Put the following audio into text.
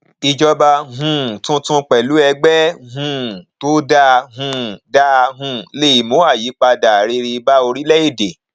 ìjọba um tuntun pẹlú ẹgbẹ um tó dáa um dáa um le mú ayipada rere bá orílẹèdè